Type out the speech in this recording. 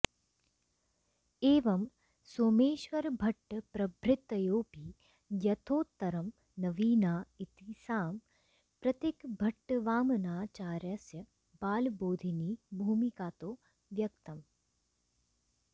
एवं सोमेश्वरभट्टप्रभृतयोऽपि यथोत्तरं नवीना इति सांप्रतिकभट्टवामनाचार्यस्य बालबोधिनीभूमिकातो व्यक्तम्